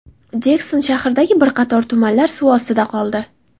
Jekson shahridagi bir qator tumanlar suv ostida qoldi.